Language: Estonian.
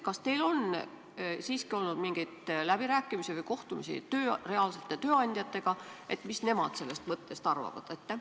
Kas teil on siiski olnud mingeid läbirääkimisi või kohtumisi reaalsete tööandjatega, et teada saada, mis nemad sellest mõttest arvavad?